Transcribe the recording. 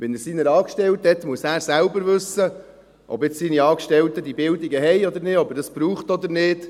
Wenn er seine Angestellten hat, muss er selber wissen, ob seine Angestellten jetzt diese Bildung haben oder nicht, ob er das braucht oder nicht.